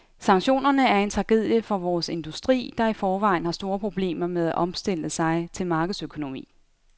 Sanktionerne er en tragedie for vores industri, der i forvejen har store problemer med at omstille sig til markedsøkonomi.